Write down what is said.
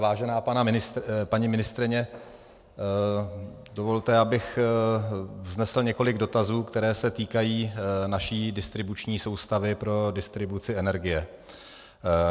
Vážená paní ministryně, dovolte, abych vznesl několik dotazů, které se týkají naší distribuční soustavy pro distribuci energie.